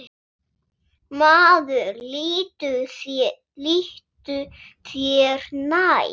Maður líttu þér nær!